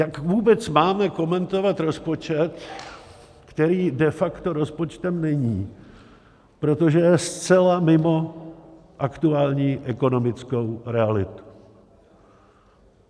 Jak vůbec máme komentovat rozpočet, který de facto rozpočtem není, protože je zcela mimo aktuální ekonomickou realitu?